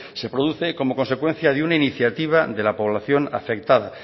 se produce como consecuencia de una iniciativa de la población afectada